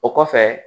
O kɔfɛ